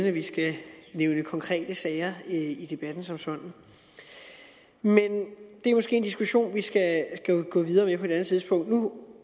at vi skal nævne konkrete sager i debatten som sådan men det er måske en diskussion vi skal gå videre med tidspunkt nu